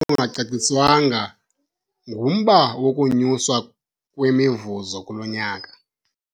Udaba olungacaciswanga ngumba wokunyuswa kwemivuzo kulo nyaka.